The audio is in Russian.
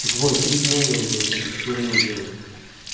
да какой три дня я уже вот эту херню делаю